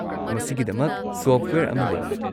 ꯃꯁꯤꯒꯤꯗꯃꯛ ꯁꯣꯐꯠꯋꯦꯌꯔ ꯑꯃ ꯂꯩ꯫